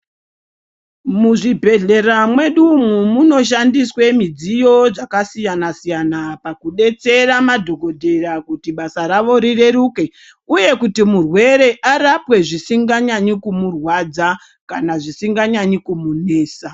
Muzvibhehlera mwedu umu munoshandiswe mudziyo dzakasiyana siyana pakubetsera madhokodheya kuti basa ravo rireruke uye kuti murwere arapwe zvisinga nyanyi kumurwadza kana zvisinga nyanyi kumunesa.